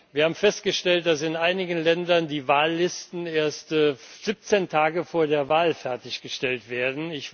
Wir haben festgestellt, dass in einigen Ländern die Wahllisten erst 17 Tage vor der Wahl fertiggestellt werden.